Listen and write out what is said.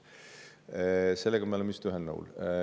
Selles me oleme vist ühel nõul.